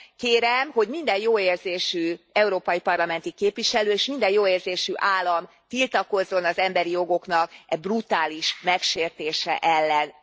Kérem, hogy minden jóérzésű európai parlamenti képviselő, és minden jóérzésű állam tiltakozzon az emberi jogoknak e brutális megsértése ellen.